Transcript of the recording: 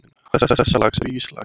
Handan þessa lags er íslag.